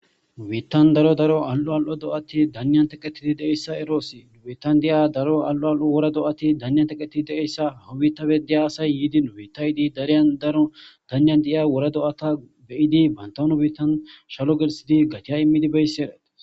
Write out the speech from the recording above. Wiittan daro daro al'o al'o do'ati danian teqetiti deeyssa eroosi wiittan diya daro alo al'o wora do'ati danyan teqetii deessa hawubita bedeya asay yiidin wiitaydi dariyan daro danyan di'a wora do'ata beyidi bantanu biittan shalo gelsidi gatiya immidi beyssi erat